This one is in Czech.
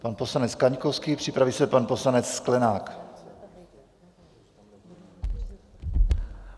Pan poslanec Kaňkovský, připraví se pan poslanec Sklenák.